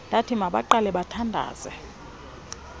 ndathi mabaqale bathandaze